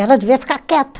Ela devia ficar quieta.